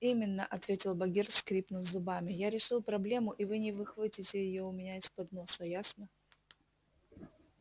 именно ответил богерт скрипнув зубами я решил проблему и вы не выхватите её у меня из-под носа ясно